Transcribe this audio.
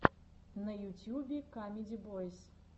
на ютюбе камеди бойз